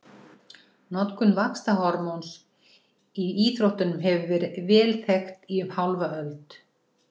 Notkun vaxtarhormóns í íþróttum hefur verið vel þekkt í um hálfa öld.